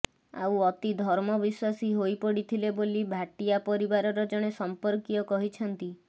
ଆଉ ଅତି ଧର୍ମବିଶ୍ୱାସୀ ହୋଇପଡିଥିଲେ ବୋଲି ଭାଟିଆ ପରିବାରର ଜଣେ ସଂପର୍କୀୟ କହିଛନ୍ତି